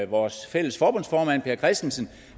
vores fælles forbundsformand per christensen